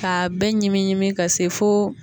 K'a bɛɛ ɲimi ka se fo